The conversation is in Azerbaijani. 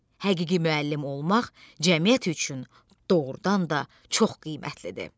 Həqiqi müəllim olmaq cəmiyyət üçün doğrudan da çox qiymətlidir.